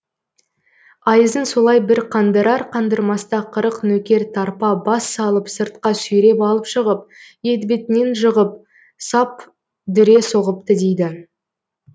айызын солай бір қандырар қандырмаста қырық нөкер тарпа бас салып сыртқа сүйреп алып шығып етбетінен жығып сап дүре соғыпты дейді